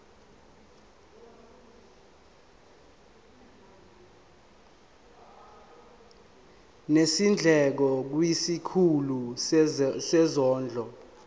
nezindleko kwisikhulu sezondlo